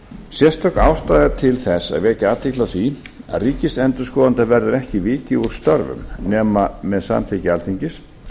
sérstök ástæða er til þess að vekja athygli á því að ríkisendurskoðanda verður ekki vikið úr störfum nema með samþykki alþingis